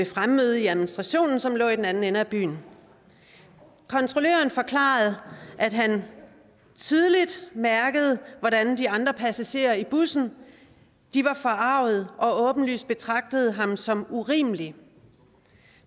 fremmøde i administrationen som lå i den anden ende af byen kontrolløren forklarede at han tydeligt mærkede hvordan de andre passagerer i bussen var forargede og åbenlyst betragtede ham som urimelig